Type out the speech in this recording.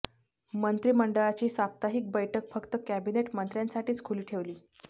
मंत्रिमंडळाची साप्ताहिक बैठक फक्त कॅबिनेट मंत्र्यांसाठीच खुली ठेवली